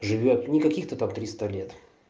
живёт никаких то там триста лет